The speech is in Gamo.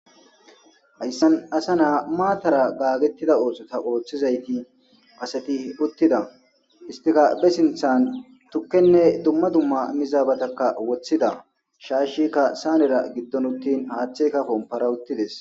hayssan asa naa maatara gaagettida ooxota ooththizayti aseti uttida istikabe sinthan tukkenne dumma dumma mizaabatakka woththida shaashikka saanera giddon uttin haaththeykka kompara uttides